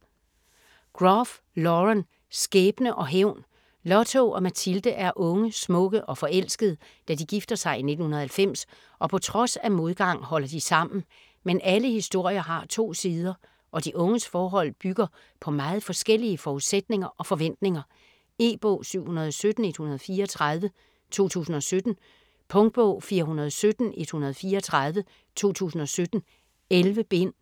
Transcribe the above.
Groff, Lauren: Skæbne og hævn Lotto og Mathilde er unge, smukke og forelskede, da de gifter sig i 1990 og på trods af modgang holder de sammen. Men alle historier har to sider og de unges forhold bygger på meget forskellige forudsætninger og forventninger. E-bog 717134 2017. Punktbog 417134 2017. 11 bind.